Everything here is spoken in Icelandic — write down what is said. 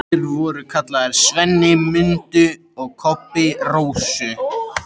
Þeir voru kallaðir SVENNI MUNDU og KOBBI RÓSU.